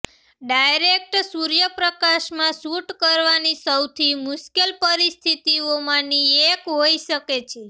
direct સૂર્યપ્રકાશમાં shoot કરવાની સૌથી મુશ્કેલ પરિસ્થિતિઓમાંની એક હોઇ શકે છે